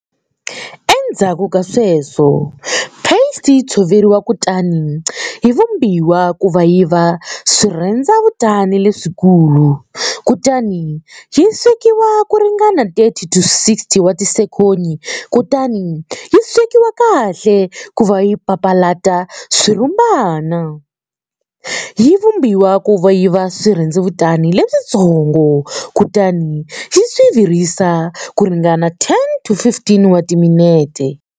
Endzhaku ka sweswo, paste yi tshoveriwa kutani yi vumbiwa kuva yiva swirhendzevutani leswikulu, kutani yi swekiwa kuringana 30-60 wa tisekoni, kutani yi swekiwa kahle kuva yi papalata swirhumbana, yi vumbiwa kuva yiva swirhendzevutani leswintsongo, kutani yi virisiwa kuringana 10-15 wa timinete.